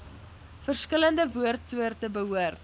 verskillende woordsoorte behoort